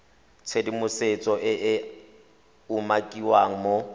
tshedimosetso e e umakiwang mo